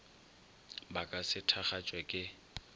ba ka se thakgatšwe ke